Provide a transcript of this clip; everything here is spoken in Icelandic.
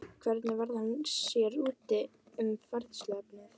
Hvernig varð hann sér úti um fræðsluefnið?